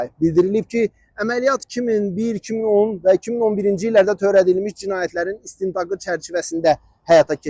Bildirilib ki, əməliyyat 2001, 2010 və 2011-ci illərdə törədilmiş cinayətlərin istintaqı çərçivəsində həyata keçirilib.